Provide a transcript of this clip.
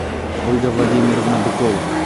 ольга владимировна быкова